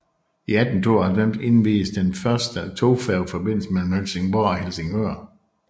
I 1892 indviedes den første togfærgeforbindelse mellem Helsingborg og Helsingør